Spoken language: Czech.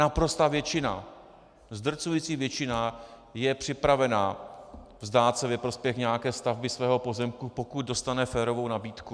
Naprostá většina, zdrcující většina je připravena vzdát se ve prospěch nějaké stavby svého pozemku, pokud dostane férovou nabídku.